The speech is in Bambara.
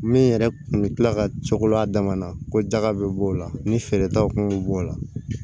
Min yɛrɛ kun bɛ kila ka cogo la a dama na ko daga bɛ b'o la ni feeretaw kun bɛ bɔ o la